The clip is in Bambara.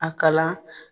A kalan